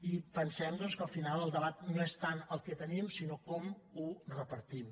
i pensem doncs que al final el debat no és tant el que tenim sinó com ho repartim